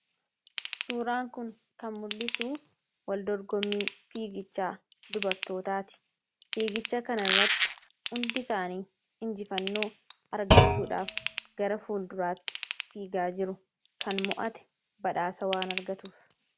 Suuraan kun kan mul'isuu wal dorgommii fiigichaa dubartootaati. Fiigicha kanarratti hundi isaanii injifannoo argachuudhaaf gara fuulduraatti fiigaa jiru. Kan mo'ate badhaasa waan argatuuf.